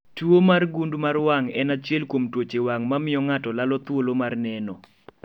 Tuo mar gund mar wang' en achiel kuom tuoche wang' mamiyo ng'ato lalo thuolo mar neno